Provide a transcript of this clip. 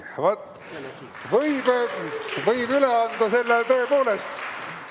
Vaat, võib üle anda selle tõepoolest.